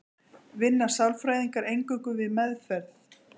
Vinna sálfræðingar eingöngu við meðferð?